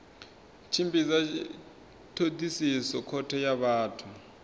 tshimbidza thodisiso khothe ya vhathu